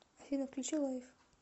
афина включи лайф